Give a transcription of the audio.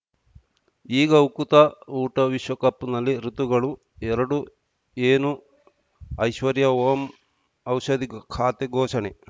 ಈಗ ಉಕುತ ಊಟ ವಿಶ್ವಕಪ್‌ನಲ್ಲಿ ಋತುಗಳು ಎರಡು ಏನು ಐಶ್ವರ್ಯಾ ಓಂ ಔಷಧಿ ಖಾತೆ ಘೋಷಣೆ